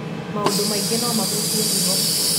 maũndũ maingĩ no mahutie higo